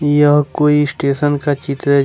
यह कोई स्टेशन का चित्र है।